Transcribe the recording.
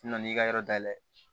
N na n'i ka yɔrɔ dayɛlɛ